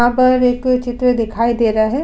यहां पर एक चित्र दिखाई दे रहा है।